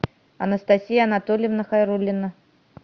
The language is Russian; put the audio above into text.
анастасия анатольевна хайрулина